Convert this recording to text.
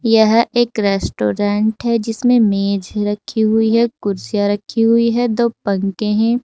यह एक रेस्टोरेंट है जिसमें मेज रखी हुई है कुर्सियां रखी हुई है दो पंखे हैं।